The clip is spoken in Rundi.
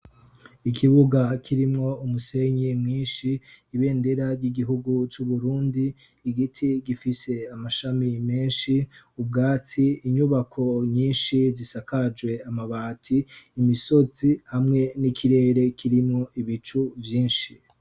ikibuga kirimwo umusenyi mwinshi ibendera ry'igihugu c'uburundi igiti gifise amashami menshi ubwatsi inyubako nyinshi zisakajwe amabati imisozi hamwe n'ikirere kirimwo ibicu byinshi